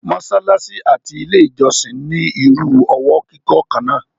mọ́sálásí àti ilé ìjọ́sìn ní irú ọwọ́ kíkọ́ kan náà.